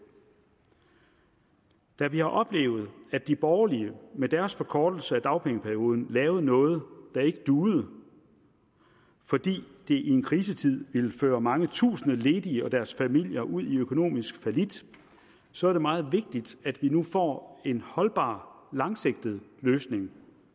da vi har oplevet at de borgerlige med deres forkortelse af dagpengeperioden lavede noget der ikke duede fordi det i en krisetid ville føre mange tusinde ledige og deres familier ud i økonomisk fallit så er det meget vigtigt at vi nu får en holdbar langsigtet løsning